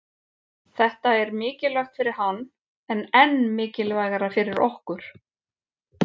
Þetta er mikilvægt fyrir hann en enn mikilvægara fyrir okkur